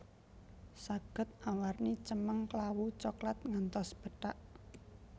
Saged awarni cemeng klawu coklat ngantos pethak